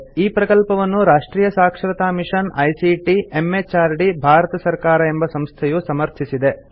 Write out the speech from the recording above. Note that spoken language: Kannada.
ಈ ಪ್ರಕಲ್ಪವನ್ನು ರಾಷ್ಟ್ರಿಯ ಸಾಕ್ಷರತಾ ಮಿಷನ್ ಐಸಿಟಿ ಎಂಎಚಆರ್ಡಿ ಭಾರತ ಸರ್ಕಾರ ಎಂಬ ಸಂಸ್ಥೆಯು ಸಮರ್ಥಿಸಿದೆ